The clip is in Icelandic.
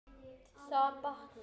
Það batnar.